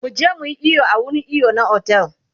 muje muyi iyo a wurin iyo na otel